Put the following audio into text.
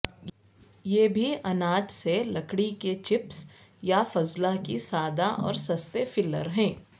یہ بھی اناج سے لکڑی کے چپس یا فضلہ کی سادہ اور سستے فلر ہے